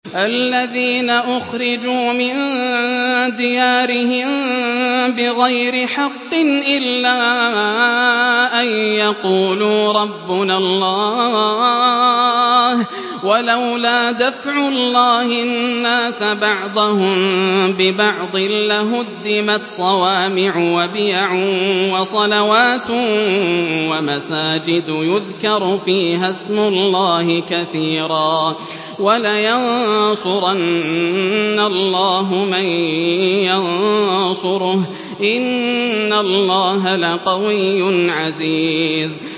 الَّذِينَ أُخْرِجُوا مِن دِيَارِهِم بِغَيْرِ حَقٍّ إِلَّا أَن يَقُولُوا رَبُّنَا اللَّهُ ۗ وَلَوْلَا دَفْعُ اللَّهِ النَّاسَ بَعْضَهُم بِبَعْضٍ لَّهُدِّمَتْ صَوَامِعُ وَبِيَعٌ وَصَلَوَاتٌ وَمَسَاجِدُ يُذْكَرُ فِيهَا اسْمُ اللَّهِ كَثِيرًا ۗ وَلَيَنصُرَنَّ اللَّهُ مَن يَنصُرُهُ ۗ إِنَّ اللَّهَ لَقَوِيٌّ عَزِيزٌ